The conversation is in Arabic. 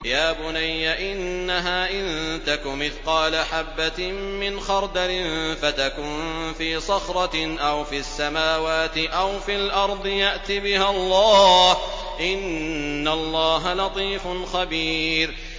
يَا بُنَيَّ إِنَّهَا إِن تَكُ مِثْقَالَ حَبَّةٍ مِّنْ خَرْدَلٍ فَتَكُن فِي صَخْرَةٍ أَوْ فِي السَّمَاوَاتِ أَوْ فِي الْأَرْضِ يَأْتِ بِهَا اللَّهُ ۚ إِنَّ اللَّهَ لَطِيفٌ خَبِيرٌ